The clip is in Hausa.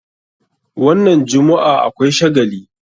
Wannan jummu'a akwai shagali.